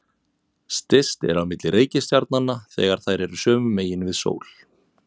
Styst er á milli reikistjarnanna þegar þær eru sömu megin við sól.